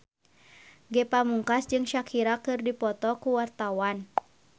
Ge Pamungkas jeung Shakira keur dipoto ku wartawan